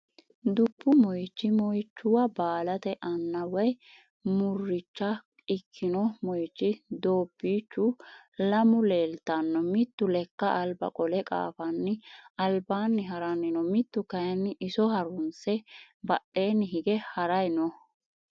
Dubu moychi moychuwa balate Anna woy murucha Ekino moychi dobichu lamu leltano mitu leka alba qole qafanni albanni haranni noo mitu kayni iso harunse badheni hige haray noo